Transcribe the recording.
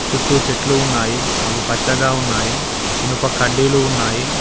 చుట్టూ చెట్లు ఉన్నాయి అవి పచ్చగా ఉన్నాయి ఇనుప కడ్డీలు ఉన్నాయి.